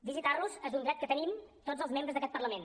visitar los és un dret que tenim tots els membres d’aquest parlament